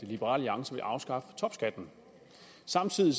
liberal alliance vil afskaffe topskatten samtidig